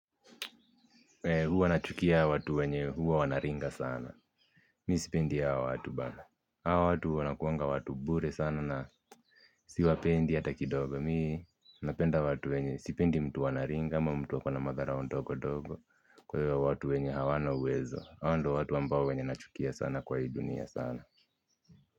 Huwa nachukia watu wenye huwa wanaringa sana. Mi sipendi hao watu bana. Hawa watu wanakuanga watu bure sana na siwapendi hata kidogo. Mi napenda watu wenye sipendi mtu anaringa ama mtu akona madharau ndogo-dogo. Kwewa watu wenye hawana uwezo. Hawa ndio watu ambao wenye nachukia sana kwa hii dunia sana.